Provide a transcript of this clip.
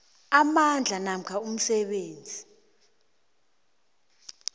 amandla namkha umsebenzi